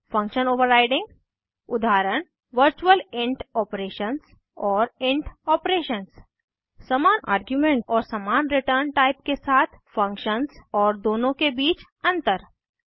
function overriding उदाहरण virtual int operations और int operations समान आर्ग्युमेंट और समान रिटर्न टाइप के साथ फंक्शन्स और दोनों के बीच अंतर